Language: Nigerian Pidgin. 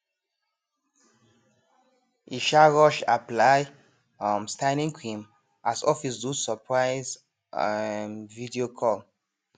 e um rush apply um styling cream as office do surprise um video call